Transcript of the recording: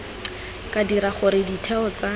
ka dira gore ditheo tsa